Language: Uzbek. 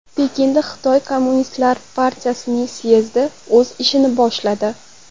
Pekinda Xitoy Kommunistlar partiyasining syezdi o‘z ishini boshladi.